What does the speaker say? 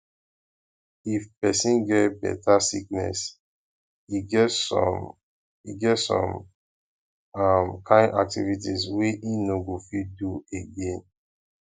if person get better sickness e get some e get some um kind activities wey im no go fit dey do again